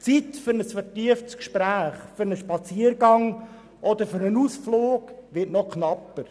Die Zeit für ein vertieftes Gespräch, für einen Spaziergang oder für einen Ausflug wird noch knapper.